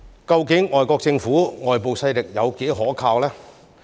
究竟外國政府、外部勢力有多可靠呢？